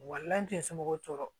n tɛ somɔgɔw tɔɔrɔ